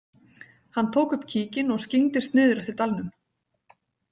Hann tók upp kíkinn og skyggndist niður eftir dalnum.